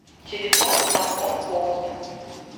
телефон маркон холод